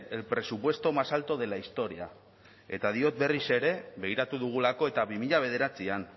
el presupuesto más alto de la historia eta diot berriz ere begiratu dugulako eta bi mila bederatzian